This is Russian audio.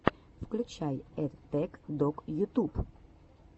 включай эттэк дог ютуб